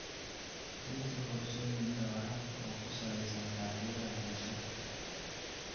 Deji qorshooyinka waraabka oo ku salaysan baahiyaha bulshada.